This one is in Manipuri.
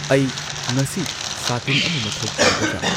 ꯑꯩ ꯉꯁꯤ ꯁꯥꯇꯤꯟ ꯑꯃ ꯃꯊꯧ ꯇꯥꯒꯗ꯭ꯔ?